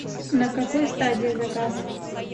на какой стадии заказ